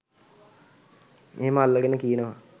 එහෙම අල්ලගෙන කියනවා